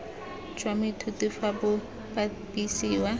jwa moithuti fa bo bapisiwa